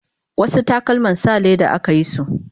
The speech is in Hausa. wasu takalman sa leda akayisu